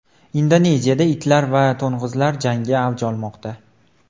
Indoneziyada itlar va to‘ng‘izlar jangi avj olmoqda.